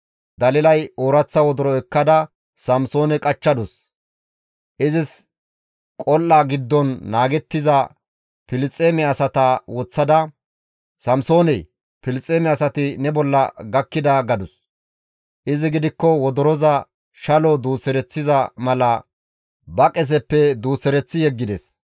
Dalilay ooraththa wodoro ekkada Samsoone qachchadus. Izis qol7a giddon naagettiza Filisxeeme asata woththada, «Samsoonee! Filisxeeme asati ne bolla gakkida» gadus. Izi gidikko wodoroza shalo duusereththiza mala ba qeseppe duusereththi yeggides.